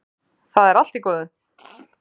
Það er allt í góðu.